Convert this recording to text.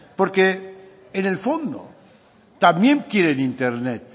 porque en el fondo también quieren internet